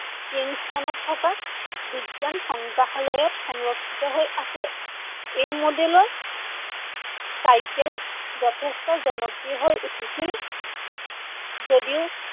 কিংষ্টনত থকা বিজ্ঞান সংগ্ৰহালয়ত সংৰক্ষিত হৈ আছে। এই model ৰ চাইকেল যথেষ্ঠ জনপ্ৰিয় হৈ উঠিছিল যদিও